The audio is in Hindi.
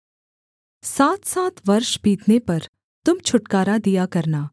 सातसात वर्ष बीतने पर तुम छुटकारा दिया करना